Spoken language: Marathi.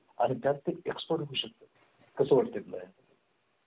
आणि त्यातील expert होऊ शकतं कसं वाटतं तुला हे